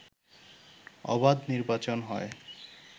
অবাধ নির্বাচন হয়